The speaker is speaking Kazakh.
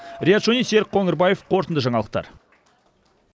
риат шони серік қоңырбаев қорытынды жаңалықтар